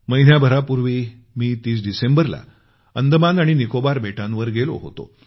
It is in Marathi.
महिन्याभरापूर्वी मी 30 डिसेंबरला अंदमान आणि निकोबार बेटांवर गेलो होतो